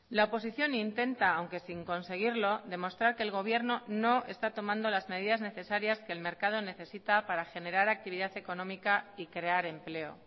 la oposición intenta aunque sin conseguirlo demostrar que el gobierno no está tomando las medidas necesarias que el mercado necesita para generar actividad económica y crear empleo